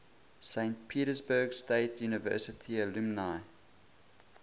saint petersburg state university alumni